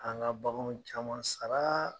An ŋa baganw caman saraa